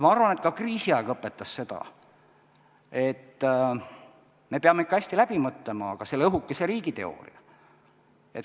Ma arvan, et kriisiaeg õpetas seda, et me peame ikka hästi läbi mõtlema selle õhukese riigi teooria.